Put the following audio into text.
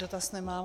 Dotaz nemám.